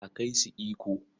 A kai su Ikko.